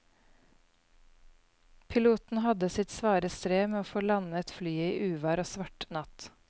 Piloten hadde sitt svare strev med å få landet flyet i uvær og svart natt.